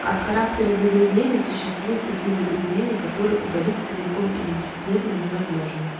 от характера загрязнений существуют такие загрязнения которые удалить целиком или бесследно невозможно